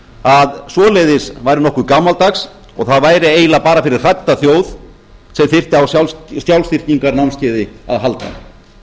að svoleiðis væri nokkuð gamaldags og það væri eiginlega bara fyrir hrædda þjóð sem þyrfti á sjálfstyrkingarnámskeiði að halda